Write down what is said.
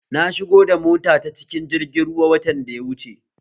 Na shigo da mota ta cikin jirgi ruwa watan da ya wuche